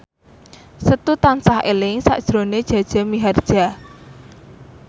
Setu tansah eling sakjroning Jaja Mihardja